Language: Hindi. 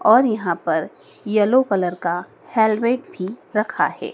और यहां पर येलो कलर का हेलमेट भी रखा है।